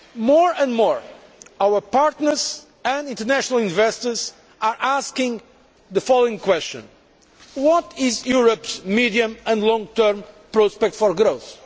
More and more, our partners and international investors are asking the following question what is Europe's medium term and long term prospect for growth?